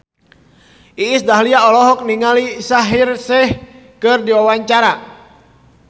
Iis Dahlia olohok ningali Shaheer Sheikh keur diwawancara